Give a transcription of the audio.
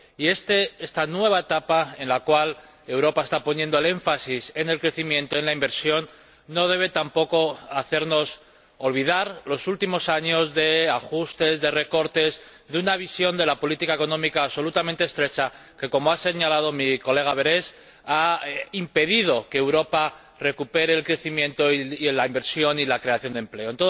Y esta nueva etapa en la cual Europa está poniendo el énfasis en el crecimiento y en la inversión no debe tampoco hacernos olvidar los últimos años de ajustes, de recortes y de una visión de la política económica absolutamente estrecha que —como ha señalado la señora Berès— ha impedido que Europa recupere el crecimiento, la inversión y la creación de empleo.